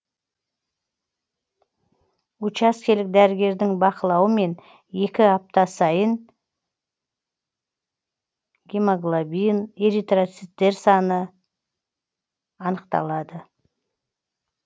учаскелік дәрігердін бақылауымен екі апта сайын гемоглобин эритроциттер саны анықталады